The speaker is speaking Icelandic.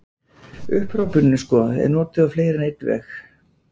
Upphrópunin sko er notuð á fleiri en einn veg.